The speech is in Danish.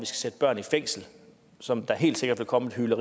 sætte børn i fængsel som der helt sikkert vil komme en